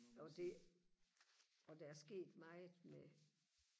jo det og der er sket meget med